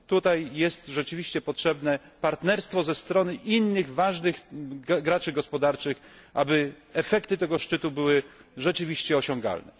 Tutaj jest rzeczywiście potrzebne partnerstwo ze strony innych ważnych graczy gospodarczych, aby efekty tego szczytu były rzeczywiście osiągalne.